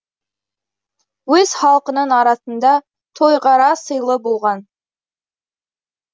өз халқының арасында тойғара сыйлы болған